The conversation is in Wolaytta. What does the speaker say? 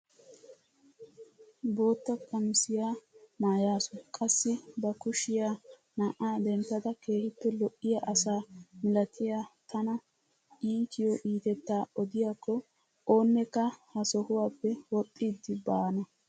Bootta qamisiyaa maayasu qassi ba kushiyaa na'aa denttada keehippe lo"iyaa asaa milatiyaa tana itiyoo itettaa odiyaakko oonekka ha sohuwaappe woxxidi baana!